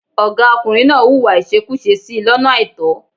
Ọ̀gá ọkùnrin náà hùwà ìṣekúṣe sí i lọ́nà àìtọ́.